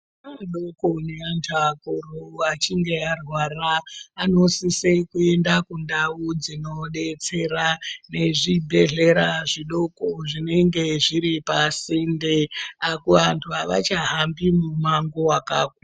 Ana adoko neantu akuru achinge arwara anosise kuenda kundau dzinodetsera nezvibhedhlera zvidoko zvinenge zviri pasinde apo vantu avachahambi mumango wakakura.